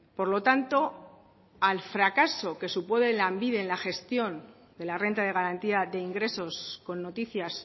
por lo tanto al fracaso que supone lanbide en la gestión de la renta de garantía de ingresos con noticias